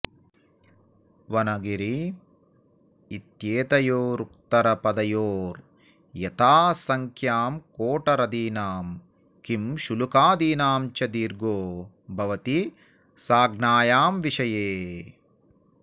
वन गिरि इत्येतयोरुत्तरपदयोर् यथासङ्ख्यं कोटरदीनाम् किंशुलुकादीनां च दीर्घो भवति सज्ञायां विषये